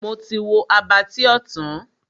Mo ti wo Abattoir tán.